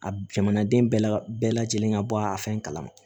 A jamanaden bɛɛ la bɛɛ lajɛlen ka bɔ a fɛn kalama